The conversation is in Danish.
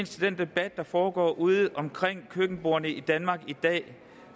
til den debat der foregår ude omkring køkkenbordene i danmark i dag